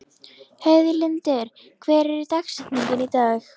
Heiðlindur, hver er dagsetningin í dag?